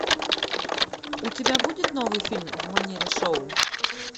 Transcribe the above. у тебя будет новый фильм в манере шоу